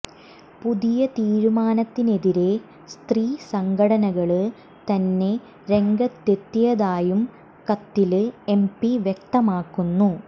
പുതിയ തീരുമാനത്തിനെതിരേ സ്ത്രീ സംഘടനകള് തന്നെ രംഗത്തെത്തിയതായും കത്തില് എംപി വ്യക്തമാക്കുന്നു